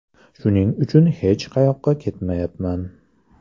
Shuning uchun hech qayoqqa ketmayman.